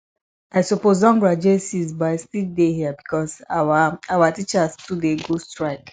i suppose don graduate since but i still dey here because our our teachers too dey go strike